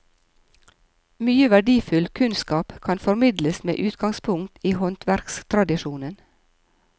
Mye verdifull kunnskap kan formidles med utgangspunkt i håndverkstradisjonen.